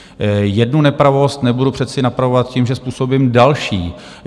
Jednu nepravost nebudu přece napravovat tím, že způsobím další.